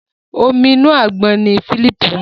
Omi inú àgbọn ní Philip mu.